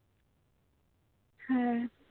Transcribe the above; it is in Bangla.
হ্যাঁ